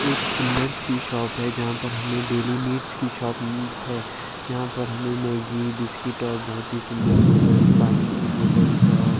एक सुंदर सी शॉप है जहां पर हमें डेली नीड्स की शॉप है यहां पर हमें मैगी बिस्किट और बहोत ही सुंदर सुंदर पानी की बॉटल्स और--